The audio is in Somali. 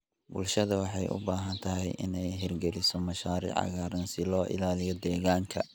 Bulshada waxay u baahan tahay inay hirgeliso mashaariic cagaaran si loo ilaaliyo deegaanka.